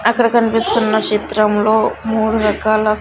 అక్కడ కన్పిస్తున్న చిత్రంలో మూడు రకాల--